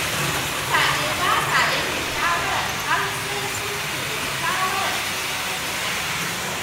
Wasu mutane ba sa yanke shawara har sai sun nemi shawarar shugabannin addini.